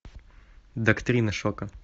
доктрина шока